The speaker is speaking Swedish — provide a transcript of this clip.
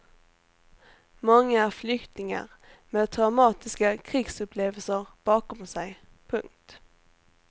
Många är flyktingar med traumatiska krigsupplevelser bakom sig. punkt